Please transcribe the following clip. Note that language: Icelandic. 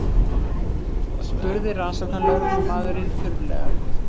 spurði rannsóknarlögreglumaðurinn þurrlega.